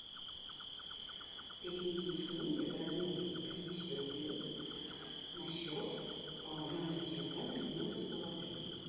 переведи деньги в размере пятидесяти рублей на счет номера телефона людмилы из бухгалтерии